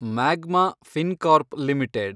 magma Fincorp limited